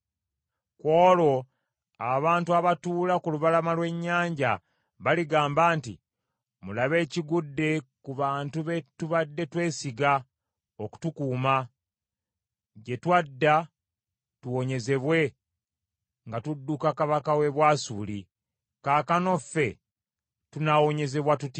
Ku olwo abantu abatuula ku lubalama lw’ennyanja baligamba nti, ‘Mulabe ekigudde ku bantu be tubadde twesiga okutukuuma, gye twadda tuwonyezebwe nga tudduka kabaka w’e Bwasuli! Kaakano ffe tunaawonyezebwa tutya?’ ”